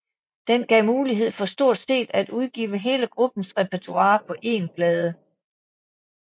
Den gav mulighed for stort set at udgive hele gruppens repertoire på én plade